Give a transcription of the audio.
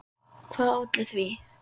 Hvað olli því?